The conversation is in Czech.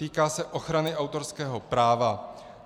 Týká se ochrany autorského práva.